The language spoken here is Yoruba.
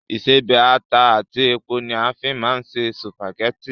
Ìṣebẹ̀, ata àti epo ni a fín máa ń se sùpàgẹ́tì